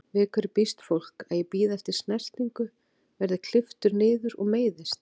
Við hverju býst fólk, að ég bíði eftir snertingu, verð klipptur niður og meiðist?